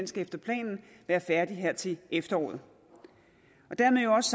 skal efter planen være færdig her til efteråret dermed jo også